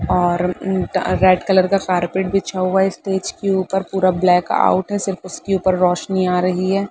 और उम्म अ रेड कलर का कार्पेट बिछा हुआ है। स्टेज के ऊपर पूरा ब्लैकआउट है। सिर्फ उसके ऊपर रोशनी आ रही है।